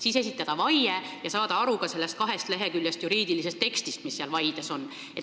Siis tuleb esitada vaie ja saada aru ka sellest kaheleheküljelisest juriidilisest tekstist, mis seal vaides on.